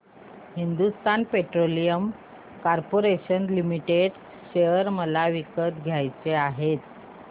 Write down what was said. Hindustan petroleum corporation limited share मला विकत घ्यायचे आहेत